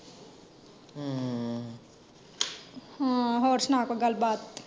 ਹਾਂ, ਹੋਰ ਸੁਣਾ ਕੋਈ ਗੱਲ ਬਾਤ।